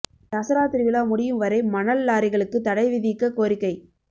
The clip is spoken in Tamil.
தசரா திருவிழா முடியும் வரை மணல் லாரிகளுக்கு தடை விதிக்கக் கோரிக்கை